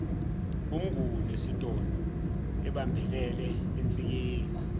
umnguni esitoloebambelele ensikeni